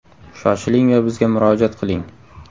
Shoshiling va bizga murojaat qiling!